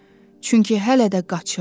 Çünki hələ də qaçırdı.